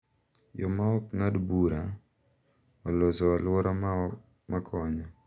Yo ma ok ng’ad bura, oloso alwora ma konyo